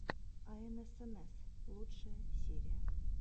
аэнэсэнэс лучшая серия